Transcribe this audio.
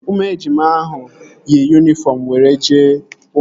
Ụmụ ejima ahụ yi yunifọm were jee ụka